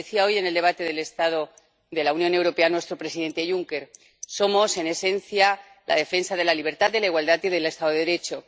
Lo decía hoy en el debate del estado de la Unión Europea nuestro presidente Juncker. Somos, en esencia, la defensa de la libertad, de la igualdad y del Estado de Derecho.